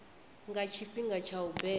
nga tshifhinga tsha u beba